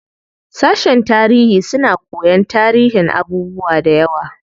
Sashen tarihi suna koyan tarihin abubuwa dayawa.